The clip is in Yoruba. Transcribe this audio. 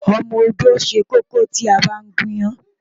Ọmọ-odó ṣẹ kókó tí a bá ń gún iyán.